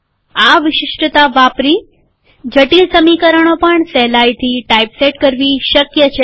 આ વિશિષ્ટતા વાપરી જટિલ સમીકરણો પણ સહેલાયથી ટાઈપસેટ કરવી શક્ય છે